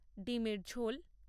ডিমের ঝোল